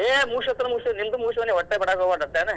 ಹೇ ಮುಗಿಸ್ಕೊತೇನ ಮುಗಿಸ್ಕೊತೇನ ನಿಂದು ಮುಗಿಸ್ಕೊ ನೀ ಓಟ್ ಬಿಡಾಕ್ ಹೊಬ್ಯಾಡ್ ಓಟ್ ಏನ್?